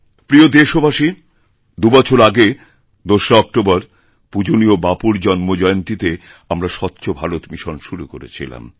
প্রিয়দেশবাসী দুবছর আগে ২রা অক্টোবর পূজণীয় বাপুর জন্মজয়ন্তীতে আমরা স্বচ্ছ ভারতমিশন শুরু করেছিলাম